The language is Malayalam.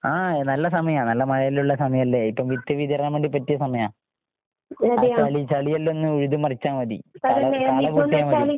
ആഹ് നല്ല സമയാ, നല്ല മഴയെല്ലാം ഉള്ള സമയല്ലേ? ഇപ്പം വിത്ത് വിതരാൻ വേണ്ടി പറ്റിയ സമയാ. ആ ചളി ചളിയെല്ലാം ഒന്ന് ഉഴുത് മറിച്ചാ മതി. കാള കാളകൂട്ടിയാ മതി.